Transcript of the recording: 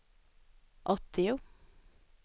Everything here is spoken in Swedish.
åttio